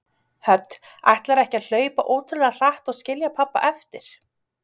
Hödd: Ætlarðu ekki að hlaupa ótrúlega hratt og skilja pabba eftir?